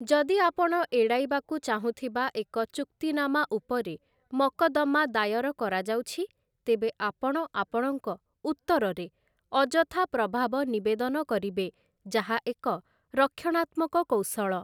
ଯଦି ଆପଣ ଏଡ଼ାଇବାକୁ ଚାହୁଁଥିବା ଏକ ଚୁକ୍ତିନାମାଉପରେ ମକଦ୍ଦମା ଦାୟର କରାଯାଉଛି, ତେବେ ଆପଣ ଆପଣଙ୍କ ଉତ୍ତରରେ ଅଯଥା ପ୍ରଭାବ ନିବେଦନ କରିବେ, ଯାହା ଏକ ରକ୍ଷଣାତ୍ମକ କୌଶଳ ।